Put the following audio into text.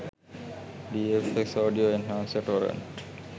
dfx audio enhancer torrent